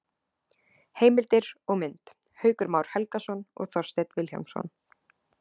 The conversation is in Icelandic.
Heimildir og mynd: Haukur Már Helgason og Þorsteinn Vilhjálmsson.